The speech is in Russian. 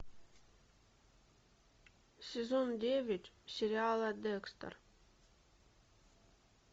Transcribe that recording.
сезон девять сериала декстер